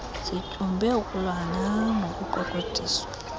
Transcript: sityumbe ukulwana nokuqweqwediswa